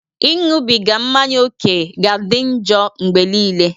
Ịṅụbiga mmanya ókè ga-adị njọ mgbe nile.